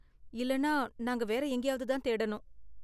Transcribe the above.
இல்லன்னா நாங்க வேற எங்கேயாவது தான் தேடணும்.